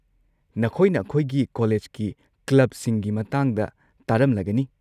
ꯅꯈꯣꯏꯅ ꯑꯩꯈꯣꯏꯒꯤ ꯀꯣꯂꯦꯖꯀꯤ ꯀ꯭ꯂꯕꯁꯤꯡꯒꯤ ꯃꯇꯥꯡꯗ ꯇꯥꯔꯝꯂꯒꯅꯤ꯫